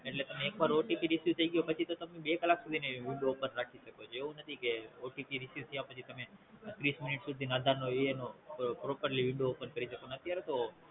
એટલે તમે એક વાર OTPReceive થાય ગયો પછી તો તમે બે કલાક સુધી ઈ window open રાખી શકોછો એવું નથી કે OTPReceive થયા પછી તમે ત્રીસ મિનિટ સુધી ન આધાર Properly window open કરીશકો ને અત્યારે તો